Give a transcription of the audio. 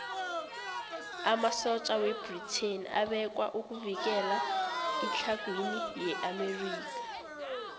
amasotja webritain abekwa ukuvikela itlhagwini yeamerika